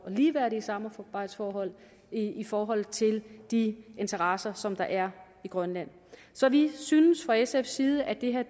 og ligeværdige samarbejdsforhold i forhold til de interesser som der er i grønland så vi synes fra sfs side at det her